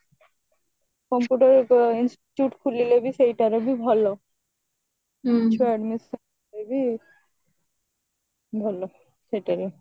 computer institute ଖୋଲିଲେ ବି ସେଇଟାରେ ବି ଭଲ ଛୁଆ admission କରିବେ ଭଲ ସେଇଟାରେ